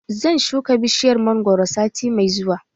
Zan shuka bishiyar mangwaro sati mai zuwa.